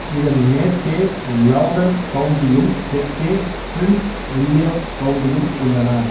இதன் மேற்கே லௌடன் கவுண்டியும் தெற்கே பிரின்சு வில்லியம் கவுண்டியும் உள்ளன